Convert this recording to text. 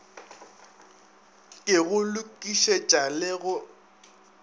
ke go lokišetša le go